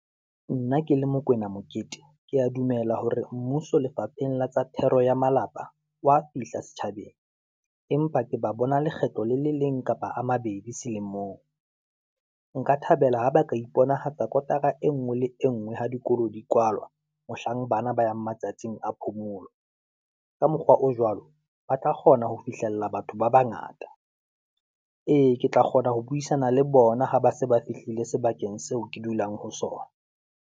Nna ke le Mokoena Mokete. ke ya dumela hore mmuso lefapheng la tsa thero ya malapa, wa fihla setjhabeng. Empa ke ba bona lekgetlo le le leng kapa a mabedi selemong, nka thabela ho ba ka iponahatsa kotara e ngwe le engwe ha dikolo di kwalwa, mohlang bana ba yang matsatsing a phomolo, ka mokgwa o jwalo, ba tla kgona ho fihlella batho ba bangata. Ee, ke tla kgona ho buisana le bona ha ba se ba fihlile sebakeng seo ke dulang ho sona.